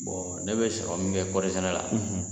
ne bɛ sɔrɔ min kɛ kɔɔrisɛnɛ la